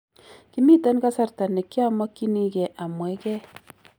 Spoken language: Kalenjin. Kimiten kasarta nekiomokinigei amwegei.